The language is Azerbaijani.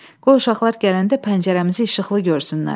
Qoy uşaqlar gələndə pəncərəmizi işıqlı görsünlər.